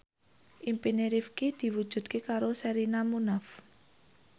impine Rifqi diwujudke karo Sherina Munaf